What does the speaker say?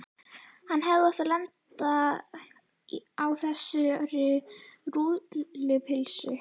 Hann hefði átt að lenda á þessari rúllupylsu.